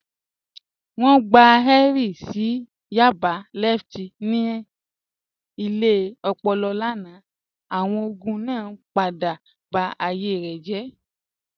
Wọn gbà Henry sí Yaba lẹftí ní ilẹ̀ òpòlò lánà, awọn ogun naa padà bá ayé rẹ jẹ́.